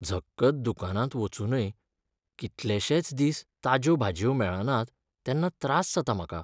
झक्कत दुकानांत वचूनय कितलेशेच दिस ताज्यो भाजयो मेळनात तेन्ना त्रास जाता म्हाका.